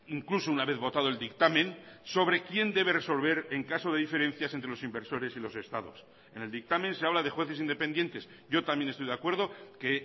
incluso una vez votado el dictamen sobre quién debe resolver en caso de diferencias entre los inversores y los estados en el dictamen se habla de jueces independientes yo también estoy de acuerdo que